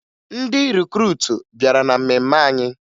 Ndị rikruutu bịara na mmemme anyị